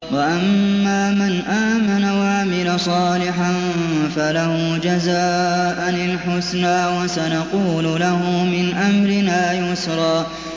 وَأَمَّا مَنْ آمَنَ وَعَمِلَ صَالِحًا فَلَهُ جَزَاءً الْحُسْنَىٰ ۖ وَسَنَقُولُ لَهُ مِنْ أَمْرِنَا يُسْرًا